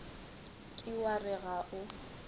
ke wa re ga o